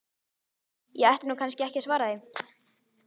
Ég ætti nú kannski ekki að svara því.